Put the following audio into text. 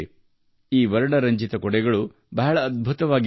ಈ ವರ್ಣರಂಜಿತ ಛತ್ರಿಗಳು ಅದ್ಭುತವಾಗಿವೆ